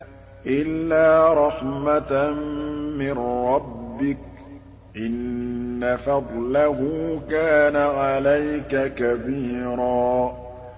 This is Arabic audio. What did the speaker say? إِلَّا رَحْمَةً مِّن رَّبِّكَ ۚ إِنَّ فَضْلَهُ كَانَ عَلَيْكَ كَبِيرًا